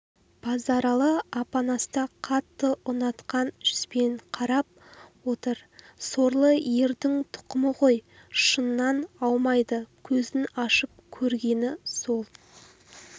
базаралы апанасты қатты ұнатқан жүзбен қарап отыр сорлы ердің тұқымы ғой шыннан аумайды көзін ашып көргені сол